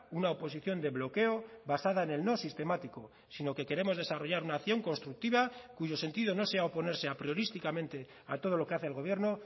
una oposición de bloqueo basada en el no sistemático sino que queremos desarrollar una acción constructiva cuyo sentido no sea oponerse apriorísticamente a todo lo que hace el gobierno